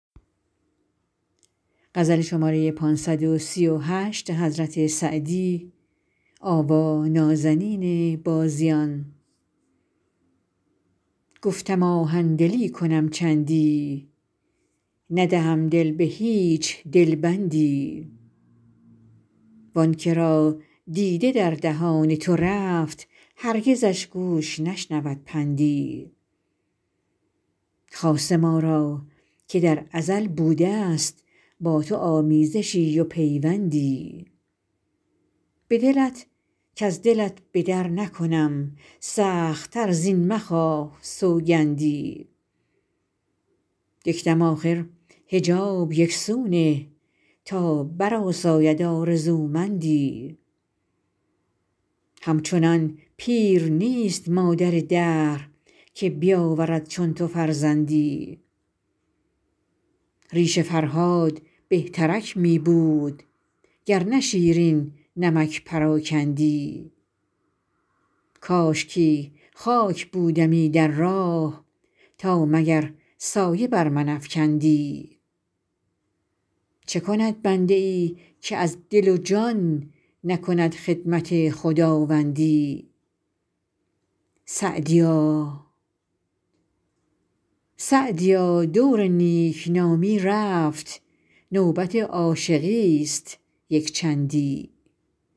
گفتم آهن دلی کنم چندی ندهم دل به هیچ دل بندی وآن که را دیده در دهان تو رفت هرگزش گوش نشنود پندی خاصه ما را که در ازل بوده است با تو آمیزشی و پیوندی به دلت کز دلت به در نکنم سخت تر زین مخواه سوگندی یک دم آخر حجاب یک سو نه تا برآساید آرزومندی همچنان پیر نیست مادر دهر که بیاورد چون تو فرزندی ریش فرهاد بهترک می بود گر نه شیرین نمک پراکندی کاشکی خاک بودمی در راه تا مگر سایه بر من افکندی چه کند بنده ای که از دل و جان نکند خدمت خداوندی سعدیا دور نیک نامی رفت نوبت عاشقی است یک چندی